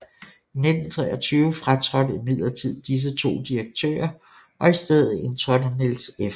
I 1923 fratrådte imidlertid disse 2 direktører og i stedet indtrådte Niels F